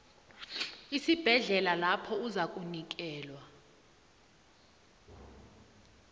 esibhedlela lapho uzakunikelwa